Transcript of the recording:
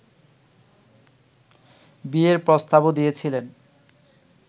বিয়ের প্রস্তাবও দিয়েছিলেন